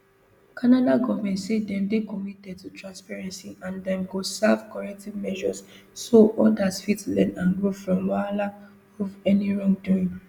canada government say dem dey committed to transparency and dem go serve corrective measures so odas fit learn and grow from wahala of any wrongdoing